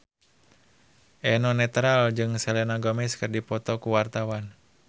Eno Netral jeung Selena Gomez keur dipoto ku wartawan